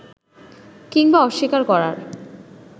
কিংবা অস্বীকার করার